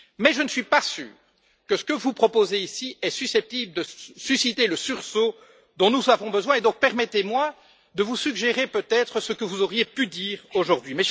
Je ne suis toutefois pas sûr que ce que vous proposez ici est susceptible de susciter le sursaut dont nous avons besoin et donc permettez moi de vous suggérer peut être ce que vous auriez pu dire aujourd'hui.